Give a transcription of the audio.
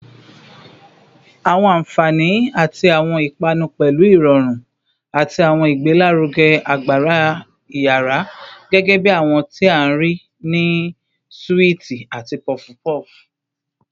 Awọn anfani ti awọn ipanu pẹlu irọrun ati awọn igbelaruge agbara iyara, gẹgẹbi awọn ti a rii ni suwiti ati puff puff